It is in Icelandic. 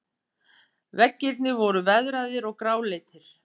Veggirnir voru veðraðir og gráleitir.